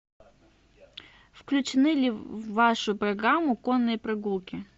включены ли в вашу программу конные прогулки